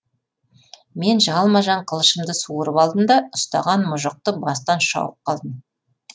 мен жалма жан қылышымды суырып алдым да ұстаған мұжықты бастан шауып қалдым